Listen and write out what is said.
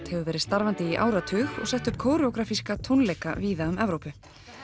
hefur verið starfandi í áratug og sett upp tónleika víða um Evrópu